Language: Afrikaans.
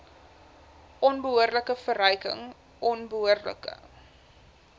onbehoorlike verryking onbehoorlike